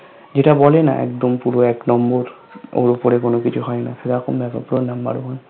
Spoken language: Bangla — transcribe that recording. যেটা বলে না একদম পুরো এক নম্বর ওর উপরে কোনো কিছু হয়না সেরকম দেখো পুরো Number One